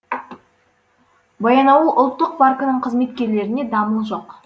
баянауыл ұлттық паркінің қызметкерлерінде дамыл жоқ